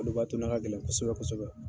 O le b'a to n'a ka gɛlɛn kosɛbɛ kosɛbɛ.